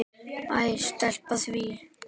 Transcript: Æ, sleppum því.